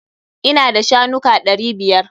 Ina da shanuka ɗari biyar.